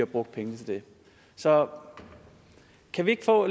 brugt pengene til så kan vi ikke få